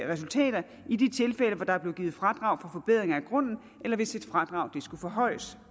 resultater i de tilfælde hvor der er blevet givet fradrag for forbedringer af grunden eller hvis et fradrag skulle forhøjes